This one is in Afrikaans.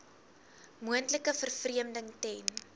moontlike vervreemding ten